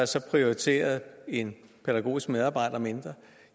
så er prioriteret en pædagogisk medarbejder mindre